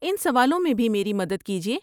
ان سوالوں میں بھی میری مدد کیجیے۔